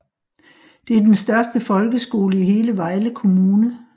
Det er den største folkeskole i hele Vejle Kommune